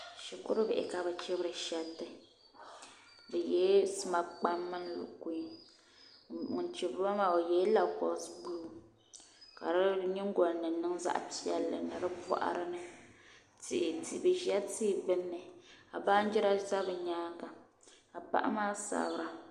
Shikuru bihi ka bi chibiri shɛriti bi yela sima kpam mini lukuii ka ŋuni chibiri ba maa o yela lakosi buluu ka di yiŋgolini niŋ zaɣi piɛlli ni di bɔɣiri ni bi zila tihi gbunni ka banjira za bi yɛanga ka paɣa maa sabira.